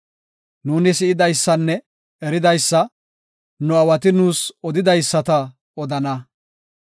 Nuuni si7idaysanne eridaysa, nu aawati nuus odidaysata odana.